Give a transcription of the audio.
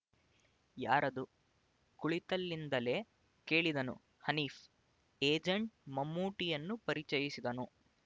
ಯಾರದು ಕುಳಿತಲ್ಲಿಂದಲೇ ಕೇಳಿದನು ಹನೀಫ್ ಏಜೆಂಟ್ ಮಮ್ಮೂಟಿಯನ್ನು ಪರಿಚಯಿಸಿದನು